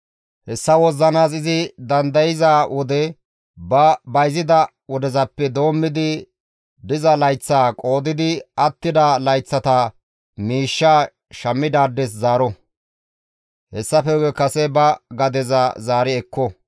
Hessa wozzanaas izi dandayza wode ba bayzida wodezappe doommidi diza layththaa qoodidi attida layththata miishshaa shammidaades zaaro; hessafe guye kase ba gadeza zaari ekko.